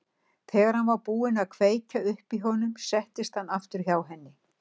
Þegar hann var búinn að kveikja upp í honum settist hann aftur hjá henni.